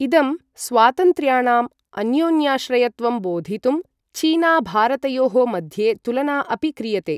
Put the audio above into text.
इदं स्वातन्त्र्याणाम् अन्योन्याश्रयत्वं बोधितुं चीना भारतयोः मध्ये तुलना अपि क्रियते।